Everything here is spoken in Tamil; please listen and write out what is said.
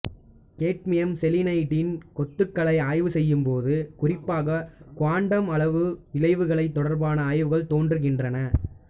கேட்மியம் செலீனைடின் கொத்துகளை ஆய்வு செய்யும்போது குறிப்பாக குவாண்டம் அளவு விளைவுகள் தொடர்பான ஆய்வுகள் தோன்றுகின்றன